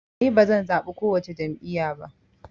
Ni bazan zaɓi kowace jam'iya ba